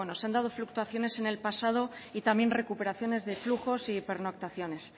se han dado fluctuaciones en el pasado y también recuperaciones de flujos y pernoctaciones